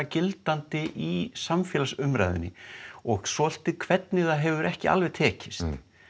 gildandi í samfélagsumræðunni og svolítið hvernig það hefur ekki alveg tekist